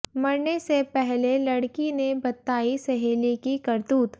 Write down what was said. मरने से पहले लड़की ने बताई सहेली की करतूत